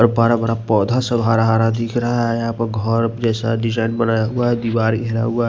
ओर बड़ा बड़ा पोधा सब हरा हरा दिख रहा है यह पर घर जैसा डिजाइन बनाया हुआ है दीवार घिरा हुआ --